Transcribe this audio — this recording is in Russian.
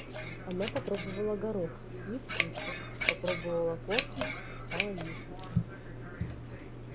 она попробовала горох невкусно попробовала корки и стала есть